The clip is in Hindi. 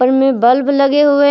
रूम में बल्ब लगे हुए।